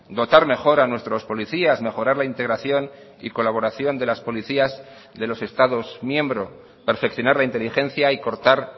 dotar mejor a nuestros policías mejorar la integración y colaboración de las policías de los estados miembro perfeccionar la inteligencia y cortar